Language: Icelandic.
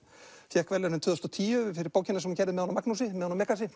fékk verðlaunin tvö þúsund og tíu fyrir bókina sem hún gerði með honum Magnúsi með honum